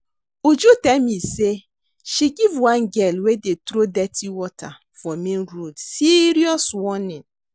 Uju tell me say she give one girl wey dey throw dirty water for main road serious warning